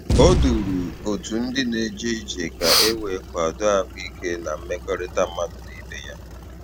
O duru otu ndị na-eje ije ka e wee kwado ahụ ike na mmekọrịta mmadụ na ibe ya